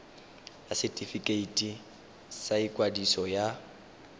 ya setefikeiti sa ikwadiso ya